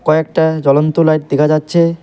কয়েকটা জ্বলন্ত লাইট দিখা যাচ্ছে।